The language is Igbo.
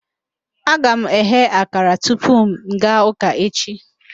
Aga m eghe akara tupu m gaa ụka echi